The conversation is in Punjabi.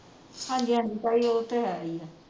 ਹਾਂਜੀ ਹਾਂਜੀ ਤਾਈ ਉਹ ਤਾਂ ਹੈ ਈ ਆ